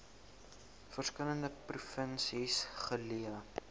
verskillende provinsies geleë